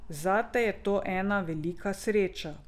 Zate je to ena velika sreča.